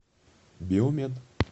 биомед